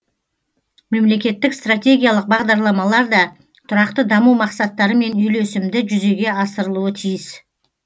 мемлекеттік стратегиялық бағдарламалар да тұрақты даму мақсаттарымен үйлесімді жүзеге асырылуы тиіс